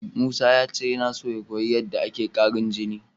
Musa ya ce yana son ya koyi yadda ake ƙarin jini.